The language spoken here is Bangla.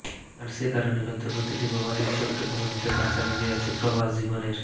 আর সে কারণেই হয়তো প্রতিটি প্রবাসীর ছোট্ট ধমনিতে বাসা বেঁধে আছে প্রবাস জীবনের